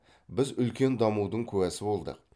біз үлкен дамудың куәсі болдық